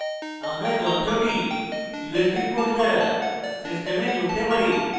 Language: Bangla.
usb cable ব্যবহার করে যন্ত্র নোটবুকের সাথে যোগ করুন